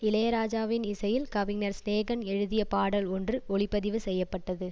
இளையராஜாவின் இசையில் கவிஞர் சினேகன் எழுதிய பாடல் ஒன்று ஒலிப்பதிவு செய்ய பட்டது